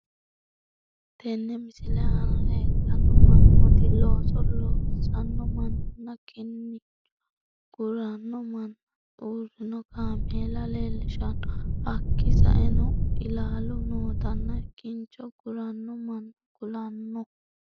Tene misile anna lelittanoo mannot losso losanoo mannana kinnicho gurranoo mannana urrino kameela lellishshano hakki sa'enoo illaluu nottanna kinncho gurrano manna kulanoo